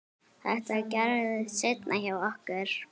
Þetta gerðist seinna hjá okkur.